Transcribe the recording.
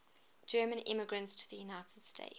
german immigrants to the united states